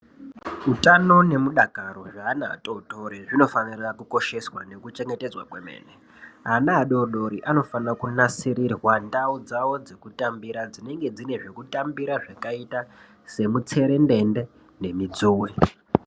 Utano nemudakaro zveana atotori zvinofanira kukosheswa nekuchengetedzwa kwemene, ana adodori anofanira kunasirirwa ndau dzawo dzekutambira dzinenge dzine zvekutambira zvakaita semutserendende nemidzuwe.